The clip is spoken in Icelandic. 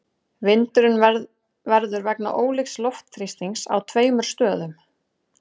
Vindurinn verður vegna ólíks loftþrýstings á tveimur stöðum.